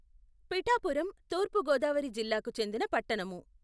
పిఠాపురం తూర్పు గోదావరి జిల్లాకు చెందిన పట్టణము.